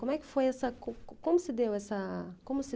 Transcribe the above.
Como é que foi essa, co co como se essa, como se